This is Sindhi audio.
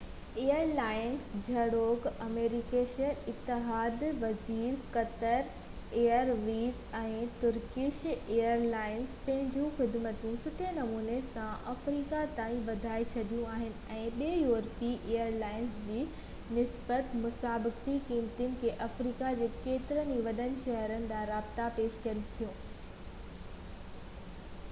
ايئر لائنز جهڙوڪ Emirates Etihad airways Qatar airways ۽ Turkish airlines پنهنجون خدمتون سٺي نموني سان افريقا تائين وڌائي ڇڏيون آهن ۽ ٻين يورپي ايئر لائنز جي نسبت مسابقتي قيمتن تي آفريڪا جي ڪيترن ئي وڏن شهرن ڏانهن رابطا پيش ڪن ٿيون